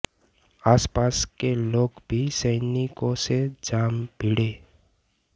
आसपास के लोग भी सैनिकों से जा भिडे